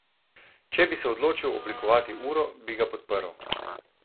Če bi se odločil oblikovati uro, bi ga podprl.